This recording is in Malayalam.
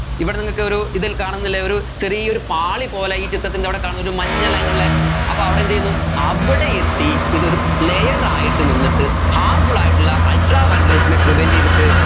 ഇവിടെ നിങ്ങൾക്കൊരു ഇതിൽ കാണുന്നില്ലേ ഒരു ചെറിയൊരു പാളി പോലെ ഈ ചിത്രത്തിൻറെ അവിടേ കാണുന്നെ ഒരു മഞ്ഞ line ഉള്ളേ അപ്പൊ അവിടെ എന്ത് ചെയ്യുന്നു അവിടെ എത്തി ഇതൊരു layer ആയിട്ട് നിന്നിട്ട് harmful ആയിട്ടുള്ള ultraviolet rays നെ prevent ചെയ്തിട്ട്